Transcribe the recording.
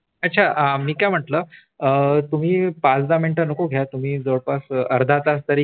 अच्छा मी काय म्हटल अ तुम्ही पाच दहा मिनट नको घ्या जवळपास अर्धातास तरी घ्या